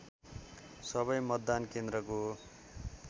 सबै मतदान केन्द्रको